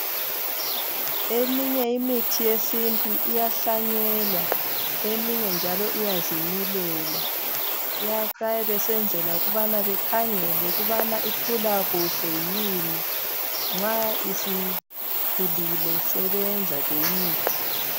Eminye imithi yesintu iyahlanyelwa, eminye njalo iyazimilela. Bayabe besenzela ukubana bekhangele ukubana ikhula kuhle yini. Nxa isikhulile sebeyenza ke imithi.